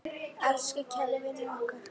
Elsku kæri vinur okkar.